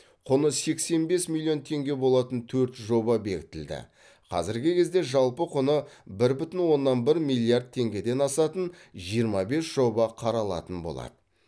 құны сексен бес миллион теңге болатын төрт жоба бекітілді қазіргі кезде жалпы құны бір бүтін оннан бір миллиард теңгеден асатын жиырма бес жоба қаралатын болады